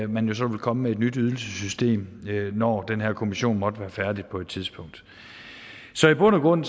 man så vil komme med et nyt ydelsessystem når den her kommission måtte være færdig på et tidspunkt så i bund og grund